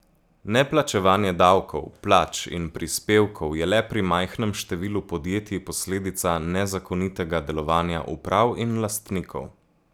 Neplačevanje davkov, plač in prispevkov je le pri majhnem številu podjetij posledica nezakonitega delovanja uprav in lastnikov.